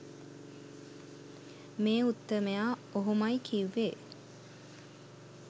මේ උත්තමයා ඔහොමයි කිව්වෙ